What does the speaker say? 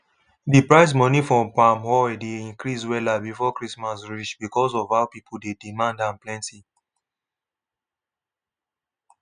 d price money for palm oil dey increase wella before christmas reach becos of how pipo dey demand am plenti